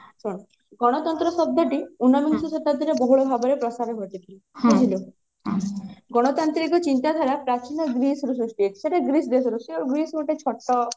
ଶୁଣୁ ଗଣତନ୍ତ୍ର ଶବ୍ଦ ଟି ଉନବିଂଶ ଶତାବ୍ଦୀ ରେ ବହୁଳ ପ୍ରସାର ଘଟିଥିଲା ବୁଝିଲୁ ଗଣତାନ୍ତ୍ରିକ ଚିନ୍ତାଧାରା ପ୍ରାଚୀନ ଗ୍ରୀସ ରୁ ସୃଷ୍ଟି ହେଇଛି ସେଟା ଗ୍ରୀସ ଦେଶରୁ ସେ ଗ୍ରୀସ ଗୋଟେ ଛୋଟ